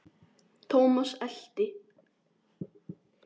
Thomas elti.